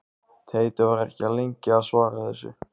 Teitur var ekki lengi að svara þessu.